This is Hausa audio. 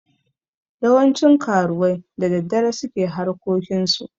Yawancin karuwai da daddare su ke harkokinsu.